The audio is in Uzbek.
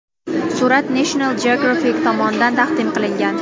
Surat National Geographic tomonidan taqdim qilingan .